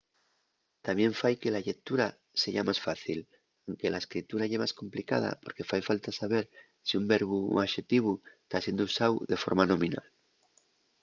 tamién fai que la llectura seya más fácil anque la escritura ye más complicada porque fai falta saber si un verbu o un axetivu ta siendo usáu de forma nominal